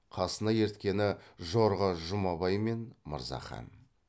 қасына ерткені жорға жұмабай мен мырзахан